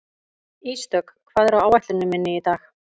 Ísdögg, hvað er á áætluninni minni í dag?